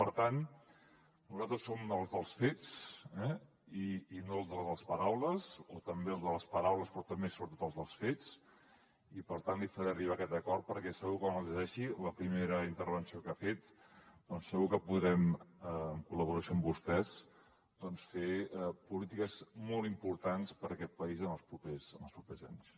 per tant nosaltres som els dels fets i no els de les paraules o també els de les paraules però també sobretot els dels fets i per tant li faré arribar aquest acord perquè segur que quan el llegeixi amb la primera intervenció que ha fet segur que podrem en col·laboració amb vostès fer polítiques molt importants per a aquest país en els propers els propers anys